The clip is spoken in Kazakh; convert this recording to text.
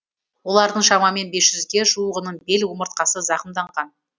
олардың шамамен бес жузге жуығының бел омыртқасы зақымданған